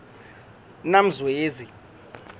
namzwezi